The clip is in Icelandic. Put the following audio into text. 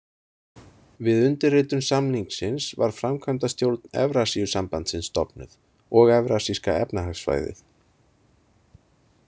Við undirritun samningsins var Framkvæmdastjórn Evrasíusambandsins stofnuð, og Evrasíska efnahagsvæðið.